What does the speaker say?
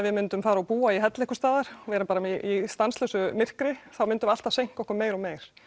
við myndum fara og búa í helli einhvers staðar vera bara í stanslausu myrkri þá myndum við alltaf seinka okkur meir og meir